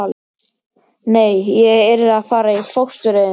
Nei, ég yrði að fara í fóstureyðingu.